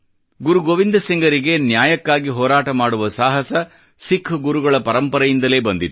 ಗುರು ಗೋವಿಂದ ಸಿಂಗರಿಗೆ ನ್ಯಾಯಕ್ಕಾಗಿ ಹೋರಾಟ ಮಾಡುವ ಸಾಹಸ ಸಿಖ್ ಗುರುಗಳ ಪರಂಪರೆಯಿಂದಲೇ ಬಂದಿತ್ತು